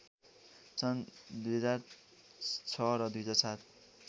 सन् २००६ र २००७